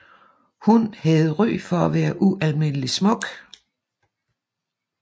Hun havde ry for at være ualmindelig smuk